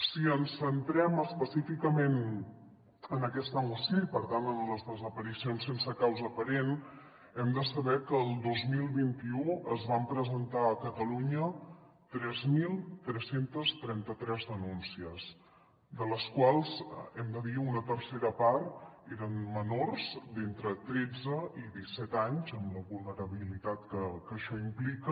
si ens centrem específicament en aquesta moció i per tant en les desaparicions sense causa aparent hem de saber que el dos mil vint u es van presentar a catalunya tres mil tres cents i trenta tres denúncies de les quals hem de dir que una tercera part eren menors d’entre tretze i disset anys amb la vulnerabilitat que això implica